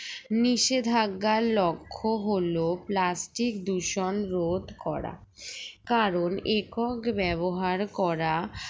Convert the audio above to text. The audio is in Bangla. নিষেধাজ্ঞার লক্ষ্য হলো plastic দূষণ রোধ করা কারণ একক ব্যবহার করা